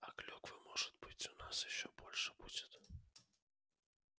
а клюквы может быть у нас ещё больше будет